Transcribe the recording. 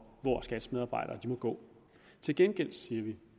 hvor skats medarbejdere må gå ind til gengæld siger vi